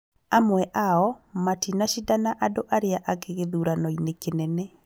Amwe ao matinacinda na andũ arĩa angĩ gĩthurano-inĩ kĩnene